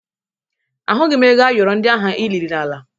Ahụghị m ego ayọrọ ndị ahụ i liri n'ala